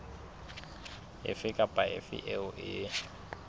efe kapa efe eo e